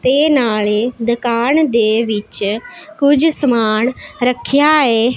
ਤੇ ਨਾਲੇ ਦੁਕਾਨ ਦੇ ਵਿੱਚ ਕੁਝ ਸਮਾਨ ਰੱਖਿਆ ਏ।